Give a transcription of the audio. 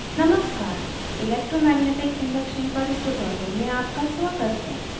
नमस्कार electromagnetic induction पर इस tutorial में आपका स्वागत है